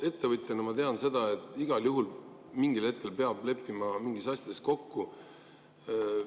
Ettevõtjana ma tean, et igal juhul peab mingil hetkel mingites asjades kokku leppima.